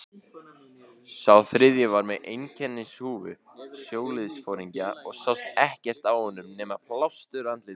Sá þriðji var með einkennishúfu sjóliðsforingja og sást ekkert á honum nema plástur á andliti.